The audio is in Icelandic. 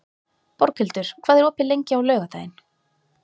Borghildur, hvað er opið lengi á laugardaginn?